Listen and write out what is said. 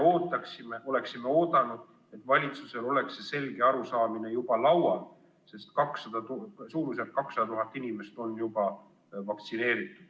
Me oleksime oodanud, et valitsusel oleks selge arusaamine juba laual, sest suurusjärgus 200 000 inimest on juba vaktsineeritud.